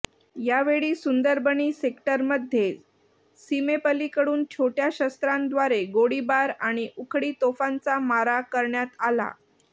यावेळी सुंदरबनी सेक्टरमध्ये सीमेपलिकडून छोट्या शस्त्रांद्वारे गोळीबार आणि उखळी तोफांचा मारा करण्यात आला